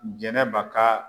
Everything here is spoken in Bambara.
Jɛnɛba ka